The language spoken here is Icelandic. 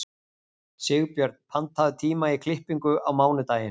Sigbjörn, pantaðu tíma í klippingu á mánudaginn.